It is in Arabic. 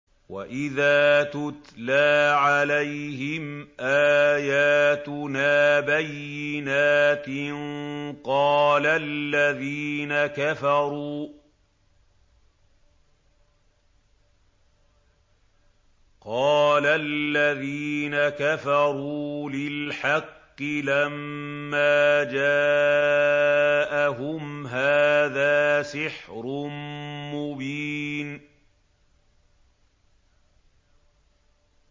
وَإِذَا تُتْلَىٰ عَلَيْهِمْ آيَاتُنَا بَيِّنَاتٍ قَالَ الَّذِينَ كَفَرُوا لِلْحَقِّ لَمَّا جَاءَهُمْ هَٰذَا سِحْرٌ مُّبِينٌ